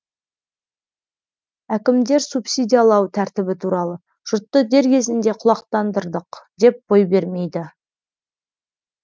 әкімдер субсидиялау тәртібі туралы жұртты дер кезінде құлақтандырдық деп бой бермейді